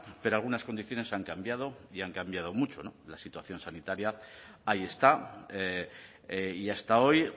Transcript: pero algunas condiciones han cambiado y han cambiado mucho la situación sanitaria ahí está y hasta hoy